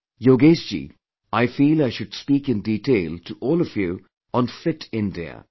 Yogesh ji, I feel I should speak in detail to all of you on 'Fit India'